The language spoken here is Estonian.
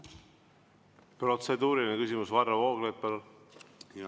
Protseduuriline küsimus, Varro Vooglaid, palun!